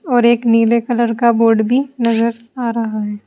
और एक नीले कलर का बोर्ड भी नजर आ रहा है।